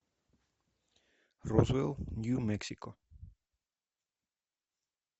розуэлл нью мексико